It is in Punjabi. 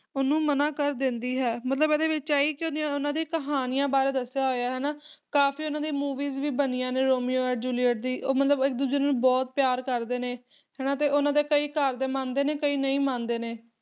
ਉਹਨੂੰ ਮਨਾ ਕਰ ਦਿੰਦੀ ਹੈ, ਮਤਲਬ ਇਹਦੇ ਵਿੱਚ ਆਹੀ ਕੀ ਓਨ ਉਹਨਾਂ ਦੀ ਕਹਾਣੀਆਂ ਬਾਰੇ ਦੱਸਿਆ ਹੋਇਆ ਹਨਾਂ ਕਾਫੀ ਉਹਨਾਂ ਦੀ movies ਵੀ ਬਣੀਆਂ ਨੇ ਰੋਮੀਓ ਐਂਡ ਜੂਲੀਅਟ ਦੀ ਉਹ ਮਤਲਬ ਇੱਕ ਦੂਜੇ ਨੂੰ ਬਹੁਤ ਪਿਆਰ ਕਰਦੇ ਨੇ ਹਨਾਂ ਤੇ ਉਹਨਾਂ ਦੇ ਕਈ ਘਰਦੇ ਮੰਨਦੇ ਨੇ ਕਈ ਨਹੀਂ ਮੰਨਦੇ ਨੇ